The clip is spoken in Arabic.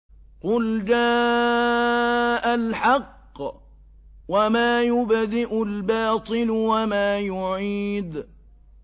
قُلْ جَاءَ الْحَقُّ وَمَا يُبْدِئُ الْبَاطِلُ وَمَا يُعِيدُ